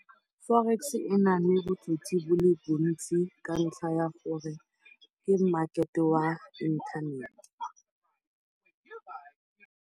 Forex e na le botsotsi bo le bo ntsi ka ntlha ya gore ke market-e wa inthanete.